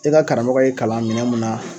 E ka karamɔgɔ y'e kalan minɛn mun na